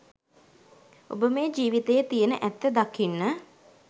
ඔබ මේ ජීවිතයේ තියෙන ඇත්ත දකින්න